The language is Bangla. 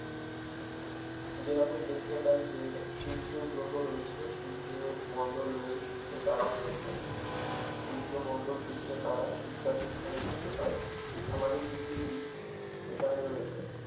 যেরকম দেখতে পাই যে সূর্য গ্রহ রয়েছে সূর্য মন্ডল রয়েছে, সূর্য তারা রয়েছে সূর্য মন্ডল সূর্য তারা ইত্যাদি এখানে দেখতে পাই আমাদের পৃথিবী এখানে রয়েছে